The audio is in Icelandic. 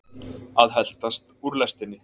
Að heltast úr lestinni